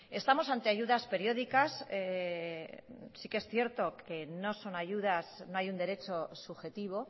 estamos ante ayudas periódicas sí que es cierto que no son ayudas no hay un derecho subjetivo